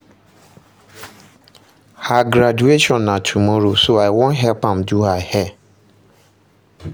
Her graduation na tomorrow so I wan help am do her hair